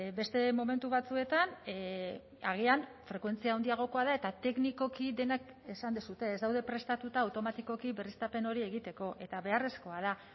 beste momentu batzuetan agian frekuentzia handiagokoa da eta teknikoki denak esan duzue ez daude prestatuta automatikoki berriztapen hori egiteko eta beharrezkoa da